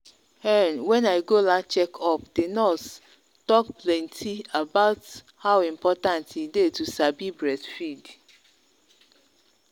um when i go last check up the nurse talk plenti about how important e day to sabi breastfeed.